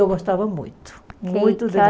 Eu gostava muito, muito de